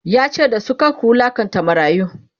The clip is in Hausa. yace da su"kar ku wulaƙanta marayu!"